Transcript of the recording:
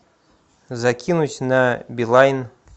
закинуть на билайн